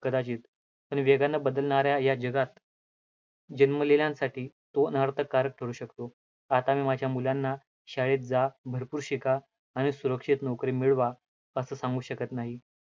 कदाचित पण वेगाने बदलणाऱ्या या जगात जन्मलेल्यांसाठी तो अनर्थकारक ठरू शकतो, आता मी माझ्या मुलांना शाळेत जा, भरपूर शिका आणि सुरक्षित नोकरी मिळवा, असं सांगू शकतं नाही.